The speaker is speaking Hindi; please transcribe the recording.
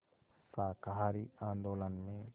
शाकाहारी आंदोलन में